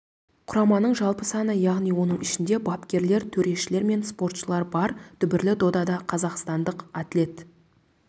құраманың жалпы саны яғни оның ішінде бапкерлер төрешілер мен спортшылар бар дүбірлі додада қазақстандық атлет